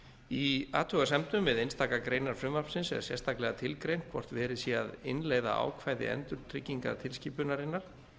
í athugasemdum við einstakar greinar frumvarpsins er sérstaklega tilgreint hvort verið sé að innleiða ákvæði endurtryggingatilskipunarinnar